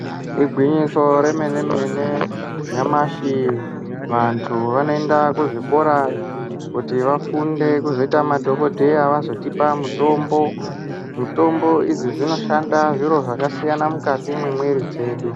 Igwinyiso remene mene nyamashi vantu vanoenda kuzvikora kuti vafunde kuzoita madhokodheya vazotipe mutombo mutombo idzi dzinoshanda zvakasiyana mukati mwemwiri dzedu.